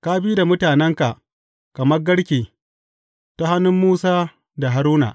Ka bi da mutanenka kamar garke ta hannun Musa da Haruna.